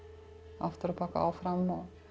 afturábak og áfram